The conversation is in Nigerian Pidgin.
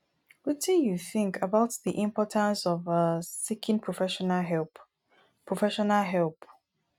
wetin you think about di importance of um seeking professional help professional help